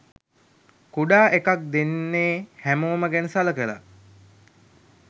කුඩා එකක් දෙන්නේ හැමෝම ගැන සලකලා.